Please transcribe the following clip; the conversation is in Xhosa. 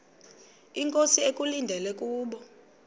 inkosi ekulindele kubo